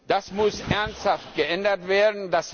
Das muss ernsthaft geändert werden.